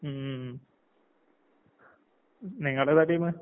ഉം ഉം ഉം. ന് നിങ്ങളേതാ ടീമ്?